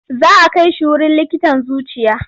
Za a kai shi wurin likitan zuciya.